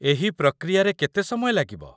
ଏହି ପ୍ରକ୍ରିୟାରେ କେତେ ସମୟ ଲାଗିବ?